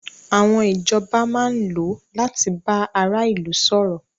Àwọn ìjọba máa ń lò láti bá ara ilu sọ̀rọ̀.